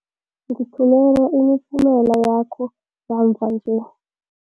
Ngithumela imiphumela yakho yamva nje.